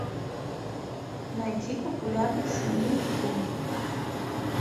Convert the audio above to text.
найди популярный семейный фильм